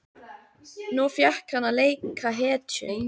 Nú fékk hann að leika hetju.